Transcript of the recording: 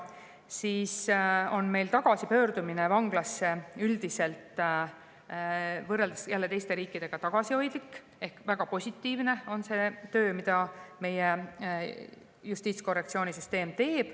Meil on üldiselt tagasipöördumine vanglasse võrreldes teiste riikidega tagasihoidlik ehk väga positiivne on see töö, mida meie justiitskorrektsioonisüsteem teeb.